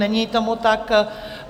Není tomu tak.